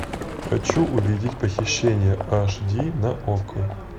хочу увидеть похищение аш ди на окко